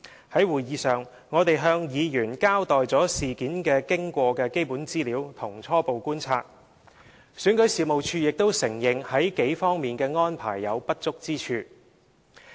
在會議上，我們向委員交代事件經過的基本資料和一些初步觀察，選舉事務處亦承認在數方面的安排有不足之處。